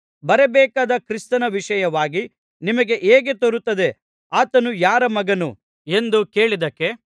ಬರಬೇಕಾದ ಕ್ರಿಸ್ತನ ವಿಷಯವಾಗಿ ನಿಮಗೆ ಹೇಗೆ ತೋರುತ್ತದೆ ಆತನು ಯಾರ ಮಗನು ಎಂದು ಕೇಳಿದ್ದಕ್ಕೆ